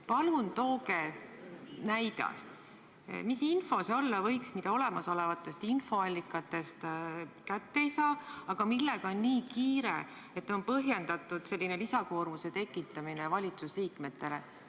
Palun tooge näide, mis info see olla võiks, mida olemasolevatest infoallikatest kätte ei saa, aga millega on nii kiire, et on põhjendatud selline lisakoormuse tekitamine valitsusliikmetele.